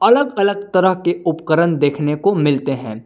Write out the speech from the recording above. अलग अलग तरह के उपकरण देखने को मिलते हैं।